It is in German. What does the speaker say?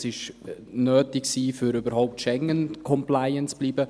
Das war nötig, um überhaupt «schengencompliant» zu bleiben.